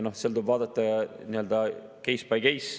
Noh, seal tuleb vaadata case-by-case.